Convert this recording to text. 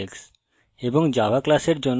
java class এর জন্য syntax